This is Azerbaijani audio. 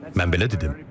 Mən belə dedim.